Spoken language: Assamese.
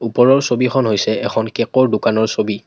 ওপৰৰ ছবিখন হৈছে এখন কেকৰ দোকানৰ ছবি।